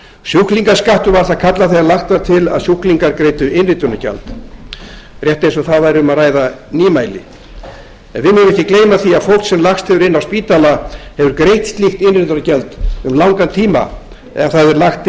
sjúklingaskattur var það kallað þegar lagt var til að sjúklingar greiddu innritunargjald rétt eins og það væri um að ræða nýmæli við megum ekki gleyma því að fólk sem lagst hefur inn á spítala hefur greitt slíkt innritunargjald um langan tíma ef það hefur verið lagt